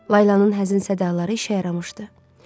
Laylanın hər zəmin sədalari işə yaramışdı.